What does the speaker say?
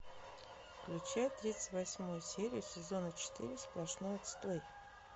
включай тридцать восьмую серию сезона четыре сплошной отстой